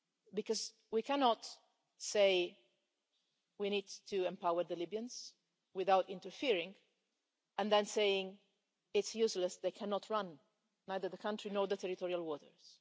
Because we cannot say we need to empower the Libyans without interfering and then say it's useless, they cannot run either the country nor the territorial waters.